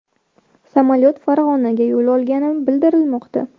Samolyot Farg‘onaga yo‘l olgani bildirilmoqda.